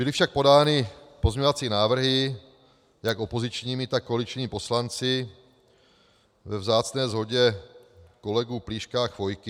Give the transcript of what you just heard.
Byly však podány pozměňovací návrhy jak opozičními, tak koaličními poslanci ve vzácné shodě kolegů Plíška a Chvojky.